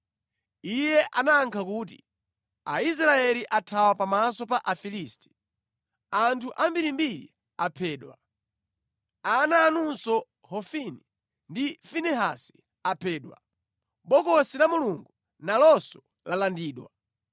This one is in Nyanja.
Iye anayankha kuti, “Aisraeli athawa pamaso pa Afilisti. Anthu ambirimbiri aphedwa. Ana anunso Hofini ndi Finehasi aphedwa. Bokosi la Mulungu nalonso lalandidwa.”